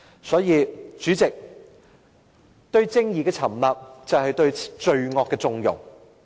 所以，代理主席，對正義沉默，便是對罪惡縱容。